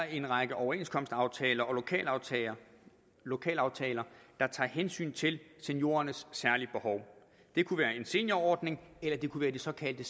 en række overenskomstaftaler og lokalaftaler lokalaftaler der tager hensyn til seniorernes særlige behov det kunne være en seniorordning eller det kunne være de såkaldte